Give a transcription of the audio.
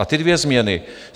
A ty dvě změny.